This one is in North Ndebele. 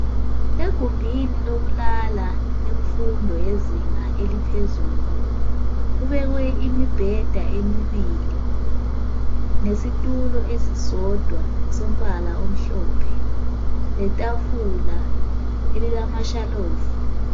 Egumbini lokulala yemfundo yezinga eliphezulu kubekwe imibheda emibili nesitulo esisodwa sombala omhlophe letafula elilamashalufu.